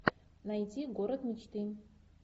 найти город мечты